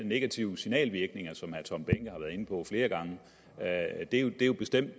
negative signalvirkninger som herre tom behnke har været inde på flere gange og det er jo bestemt